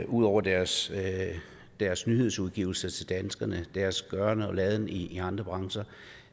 ud over deres deres nyhedsudgivelser til danskerne og deres gøren og laden i i andre brancher